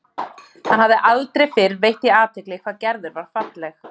Hann hafði aldrei fyrr veitt því athygli hvað Gerður var falleg.